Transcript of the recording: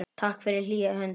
Takk fyrir hlýja hönd.